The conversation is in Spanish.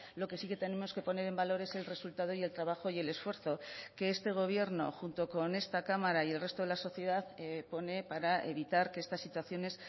lo que sí que tenemos que poner en valor es el resultado y el trabajo y el esfuerzo que este gobierno junto con esta cámara y el resto de la sociedad pone para evitar que estas situaciones